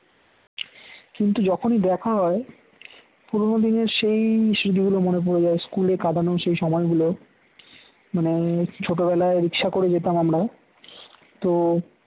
কিন্তু যখনই দেখা হয় পুরনো দিনের সেই স্মৃতিগুলো মনে পড়ে যায় school এ কাটানো সেই সময়গুলো মানে ছোটবেলায় রিক্সা করো যেতাম আমরা তো